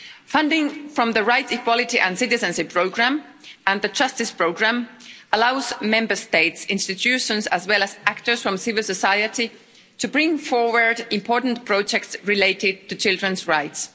Funding from the Rights, Equality and Citizenship Programme, and the Justice Programme, allows Member States' institutions, as well as actors from civil society, to bring forward important projects related to children's rights.